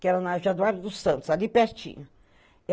Que era na Januária dos Santos, ali pertinho.